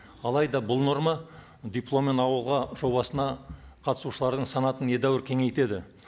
алайда бұл норма дипломмен ауылға жобасына қатысушылардың санатын едәуір кеңейтеді